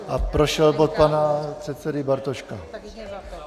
A prošel bod pana předsedy Bartoška.